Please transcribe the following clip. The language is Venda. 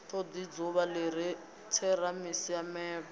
todi dzuvha li re tseramisiamelo